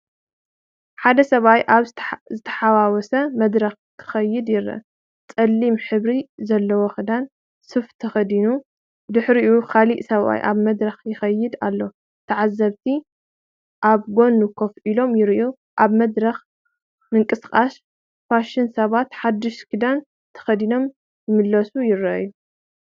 ሓደ ሰብኣይ ኣብ ዝተሓዋወሰ መድረኽ ክኸይድ ይረአ። ጸሊም ሕብሪ ዘለዎክዳን/ሱፍ ተኸዲኑ፤ ብድሕሪኡ ካልእ ሰብኣይ ኣብ መድረኽ ይኸይድ ኣሎ። ተዓዘብቲ ኣብ ጎኑ ኮፍ ኢሎም ይረኣዩ። ኣብ መድረኽ ምንቅስቓስ ፋሽን፤ ሰባት ሓድሽ ክዳን ተኸዲኖም ክምለሱ ይረኣዩ።